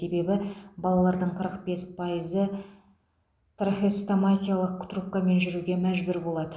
себебі балалардың қырық бес пайызы трахеостомиялық трубкамен жүруге мәжбүр болады